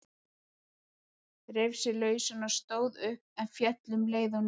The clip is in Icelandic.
Reif sig lausan og stóð upp, en féll um leið á ný.